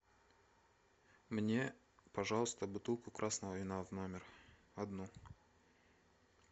мне пожалуйста бутылку красного вина в номер одну